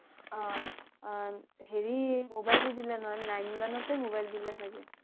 অ' হেৰী mobile দি দিলে নহয় nine মান তে mobile দিলে চাগে